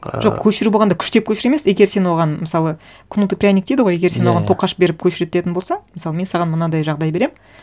ыыы жоқ көшіру болғанда күштеп көшіру емес егер сен оған мысалы кнут и пряник дейді ғой егер сен оған тоқаш беріп көшіртетін болсаң мысалы мен саған мынандай жағдай беремін